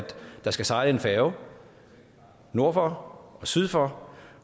der skal sejle en færge nord for og syd for